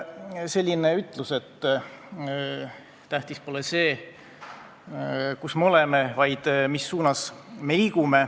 On selline ütlus, et tähtis pole see, kus me oleme, vaid mis suunas me liigume.